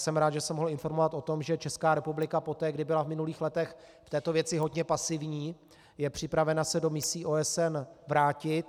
Jsem rád, že jsem mohl informovat o tom, že Česká republika poté, kdy byla v minulých letech v této věci hodně pasivní, je připravena se do misí OSN vrátit.